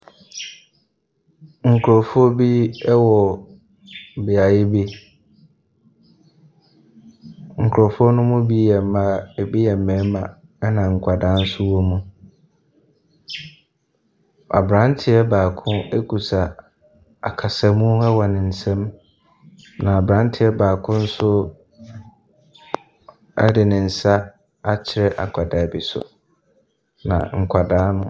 Nkurɔfoɔ bi wɔ beaeɛ bi. Nkurɔfoɔ no mu bi yɛ mmaa, ebi yɛ mmarima, ɛnna nkwadaa nso wɔ mu. Aberanteɛ baako kuta akasamu wɔ ne nsam, na aberanteɛ baako nso de ne nsa akyerɛ akwadaa bi so, na nkwadaa no .